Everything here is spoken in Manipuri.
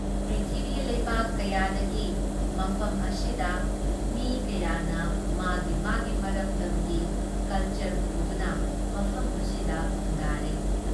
ꯄ꯭ꯔꯤꯊꯤꯕꯤꯒꯤ ꯂꯩꯕꯥꯛ ꯀꯌꯥꯗꯒꯤ ꯃꯐꯝ ꯑꯁꯤꯗ ꯃꯤ ꯀꯌꯥꯅ ꯃꯥꯒꯤ ꯃꯥꯒꯤ ꯃꯔꯝꯗꯝꯒꯤ ꯀꯜꯆꯔ ꯄꯨꯗꯨꯅ ꯃꯐꯝ ꯑꯁꯤꯗ ꯈꯨꯟꯗꯥꯔꯩ ꯫